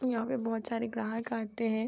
यहाँ पर बहोत सारे ग्राहक आते है।